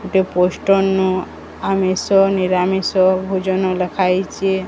ଗୋଟେ ପୋଷ୍ଟନ୍ ନୁ ଆମିସ ନିରାମିସ ଭୋଜନ ଲେଖା ହେଇଚେ।